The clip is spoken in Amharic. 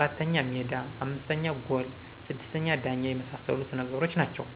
4: ሜዳ 5: ጎል 6: ዳኛ የመሳሰሉት ነገሮች ናቸው